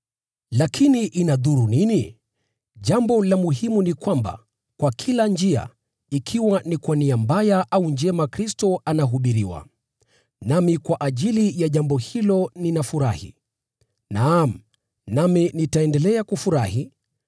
Lakini inadhuru nini? Jambo la muhimu ni kwamba kwa kila njia, ikiwa ni kwa nia mbaya au njema, Kristo anahubiriwa. Nami kwa ajili ya jambo hilo ninafurahi. Naam, nami nitaendelea kufurahi,